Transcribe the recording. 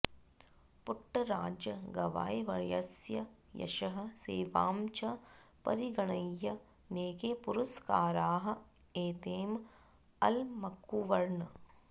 पुट्टराज गवायीवर्यस्य यशः सेवां च परिगणय्य नैके पुरस्काराः एतम् अलमकुर्वन्